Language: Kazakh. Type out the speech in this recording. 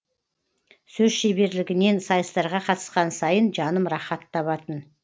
сөз шеберлігінен сайыстарға қатысқан сайын жаным рахат табатын